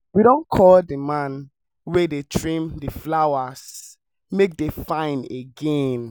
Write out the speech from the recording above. we don call the man wey go trim the flowers make dem fine again